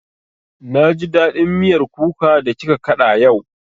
Na ji daɗin miyar kuka da kika kaɗa yau